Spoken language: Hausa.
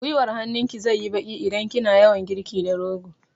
Guiwar hannun ki zai yi baƙi idan kina yawan girki da rogo